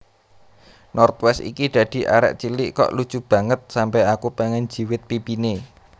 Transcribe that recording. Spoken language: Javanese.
North West iki dadi arek cilik kok lucu banget sampe aku pengen njiwit pipine